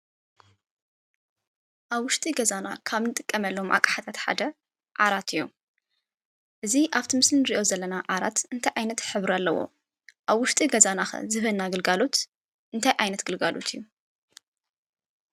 አብ ዉሽጢ ገዛና ካብ እንጥቀመሎም አቅሓታት ሓደ ዓራት እዩ። እዚ አብቲ ምስሊ እንሪኦ ዘለና ዓራት እንታይ ዓይነት ሕብሪ አለዎ? አብ ዉሽጢ ገዛና ከ ዝህበና ግልጋሎት እንታይ ዓይነት ግልጋሎት እዩ?